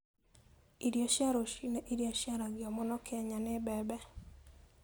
Irio cia rũcinĩ iria ciaragio mũno Kenya nĩ mbembe.